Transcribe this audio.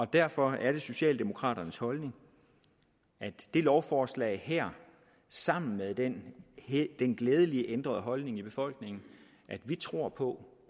derfor er det socialdemokraternes holdning at det lovforslag her sammen med den den glædelige ændrede holdning i befolkningen at vi tror på